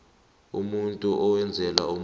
umuntu owenzela omunye